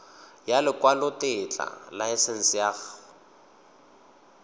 ya lekwalotetla laesense ya go